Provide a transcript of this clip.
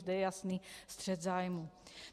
Zde je jasný střet zájmů.